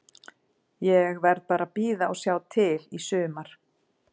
Ég verð bara að bíða og sjá til í sumar.